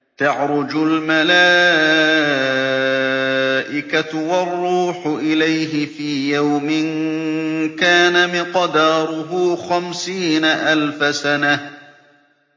تَعْرُجُ الْمَلَائِكَةُ وَالرُّوحُ إِلَيْهِ فِي يَوْمٍ كَانَ مِقْدَارُهُ خَمْسِينَ أَلْفَ سَنَةٍ